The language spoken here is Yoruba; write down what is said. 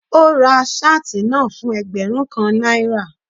Ó ra shirt náà fún ẹgbẹ́rún kan náírà.